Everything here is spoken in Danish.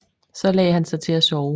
Så lagde han sig til at sove